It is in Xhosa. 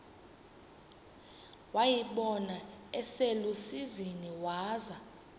wayibona iselusizini waza